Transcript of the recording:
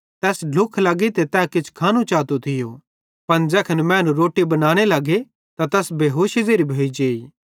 तैस ढ्लुख लग्गी ते तै किछ खानू चातो थियो पन ज़ैखन मैनू रोट्टी बनाने लगे त तैस बेहोशी ज़ेरी भोइजेइ